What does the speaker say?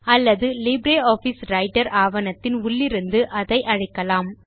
அல்லது LibreOffice Writer ஆவணத்தின் உள்ளிருந்து அதை அழைக்கலாம்